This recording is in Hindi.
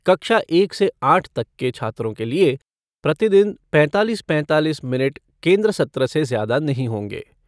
कक्षा एक से आठ तक के छात्रों के लिए प्रतिदिन पैंतालीस पैंतालीस मिनट केन्द्र सत्र से ज़्यादा नहीं होंगे।